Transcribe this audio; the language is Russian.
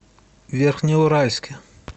верхнеуральске